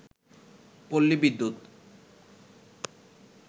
পল্লী বিদ্যুৎ